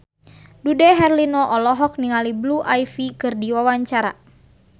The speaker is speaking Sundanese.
Dude Herlino olohok ningali Blue Ivy keur diwawancara